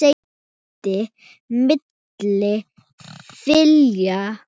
geymdir milli þilja.